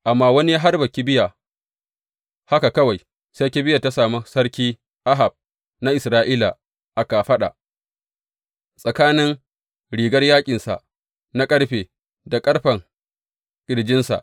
Amma wani ya harba kibiya haka kawai, sai kibiyar ta sami sarki Ahab na Isra’ila a kafaɗa tsakanin rigar yaƙinsa na ƙarfe da ƙarfen ƙirjinsa.